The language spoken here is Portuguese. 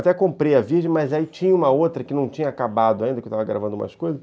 Até comprei a virgem, mas aí tinha uma outra que não tinha acabado ainda, que eu estava gravando umas coisas.